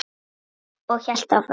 Og hélt áfram